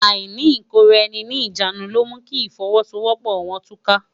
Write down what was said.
Áìní ikóráèni ni ijánú ló mú ki ifòwòsówòpò wòn túká